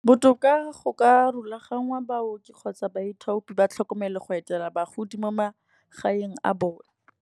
Botoka go ka rulaganngwa baoki kgotsa baithopi ba tlhokomele go etela bagodi mo magaeng a bone.